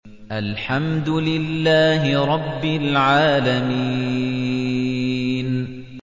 الْحَمْدُ لِلَّهِ رَبِّ الْعَالَمِينَ